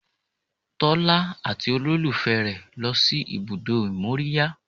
Tọ́lá àti olólùfẹ́ rẹ̀ lọ sí ibùdó ìmóríyá